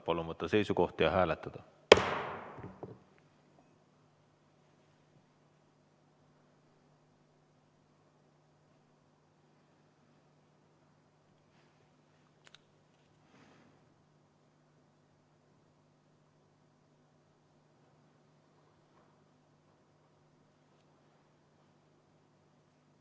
Palun võtta seisukoht ja hääletada!